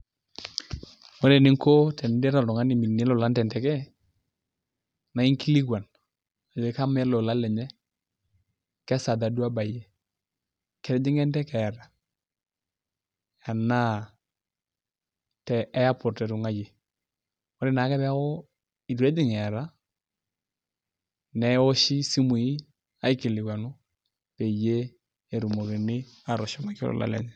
Ore eninko tenilo oltungani tenteke nainkilikwan ajo kama eleola lenye kesaja duo ebayie, ketijinga enteke anaa te airport etungayie, ore ake peaku ituejing eata neoshi simui aikilikuanu peyieu etumokini atushukoki olepeny.